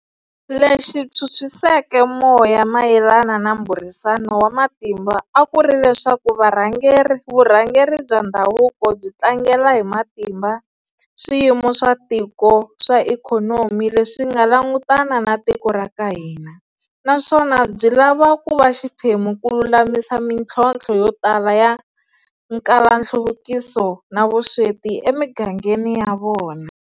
Lexi phyuphyiseke moya mayelana na mbhurisano wa matimba a ku ri leswaku varhangeri vurhangeri bya ndhavuko byi tlangela hi matimba swiyimo swa tiko swa ikhonomi leswi nga langutana na tiko ra ka hina, naswona byi lava ku va xiphemu ku lulamisa mintlhontlho yo tala ya nkalanhluvukiso na vusweti emigangeni ya vona